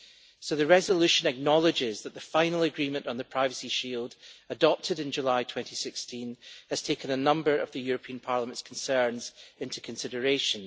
So the resolution acknowledges that the final agreement on the Privacy Shield, adopted in July 2016, has taken a number of Parliament's concerns into consideration.